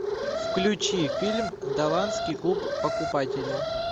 включи фильм далласский клуб покупателей